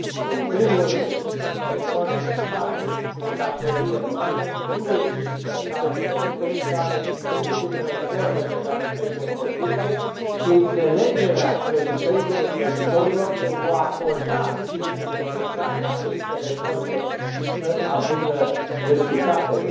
În primul rând, pentru orice țară cu o datorie mare, nu există cale de redresare decât reformele care trebuie făcute și înțelegerea creditorilor pentru a acorda timpul necesar ca aceste reforme să aducă rezultatele.